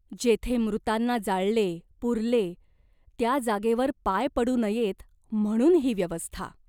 जेथे मृतांना जाळले, पुरले, त्या जागेवर पाय पडू नयेत म्हणून ही व्यवस्था !